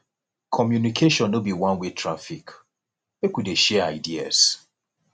communication no be oneway traffic make we dey share ideas